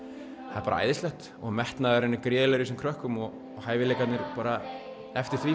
það er bara æðislegt og metnaðurinn er gríðarlegum í þessum krökkum og hæfileikarnir eftir því